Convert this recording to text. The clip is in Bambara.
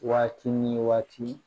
Waati ni waati